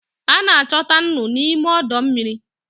A na-achọta nnu n'ime ọdọ mmiri.